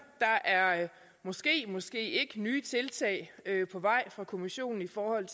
der er måske måske ikke nye tiltag på vej fra kommissionen i forhold